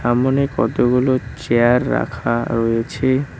সামোনে কতগুলো চেয়ার রাখা রয়েছে।